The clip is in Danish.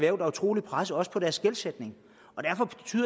er utrolig presset også på deres gældsætning